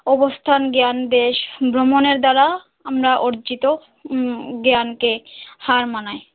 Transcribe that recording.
অবস্থান জ্ঞান বেশ, ভ্রমণের দ্বারা আমরা অর্জিত উম জ্ঞান কে হার মানায়।